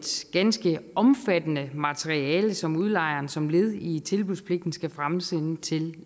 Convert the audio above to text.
ganske omfattende materiale som udlejeren som led i tilbudspligten skal fremsende til